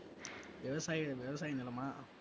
விவசாய விவசாய நிலமா?